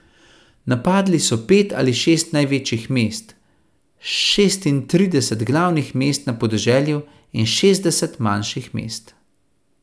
Napadli so pet ali šest največjih mest, šestintrideset glavnih mest na podeželju in šestdeset manjših mest.